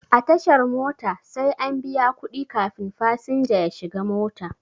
A tashar mota sai an biya kuɗi kafin fasinja ya shiga mota.